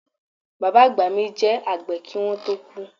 Baba agba mi je agbe ki won to ku